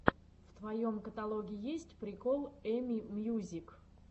в твоем каталоге есть прикол эми мьюзик